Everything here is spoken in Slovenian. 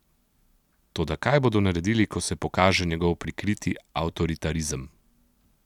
Toda kaj bodo naredili, ko se pokaže njegov prikriti avtoritarizem?